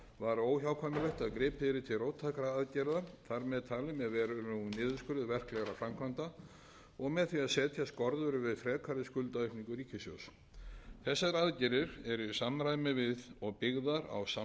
var óhjákvæmilegt að gripið yrði til róttækra aðgerða þar með talin með verulegum niðurskurði verklegra framkvæmda og með því að setja skorður við frekari skuldaaukningu ríkissjóðs þessar aðgerðir eru í samræmi við og byggðar á samstarfsáætluninni við alþjóðagjaldeyrissjóðinn í kjölfarið hefur orðið verulegur niðurskurður